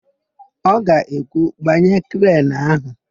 Ọ ga-ekwu, "gbanye krenu áhụ̀"!